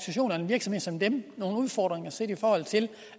en virksomhed som dem nogle udfordringer set i forhold til